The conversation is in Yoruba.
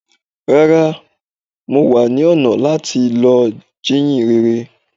Rárá, mo wa ní ọ̀nà láti lọ́ jíyìn rere.